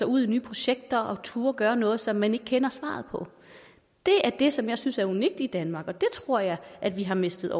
ud i nye projekter og turde gøre noget som man ikke kender svaret på det er det som jeg synes er unikt i danmark og det tror jeg at vi har mistet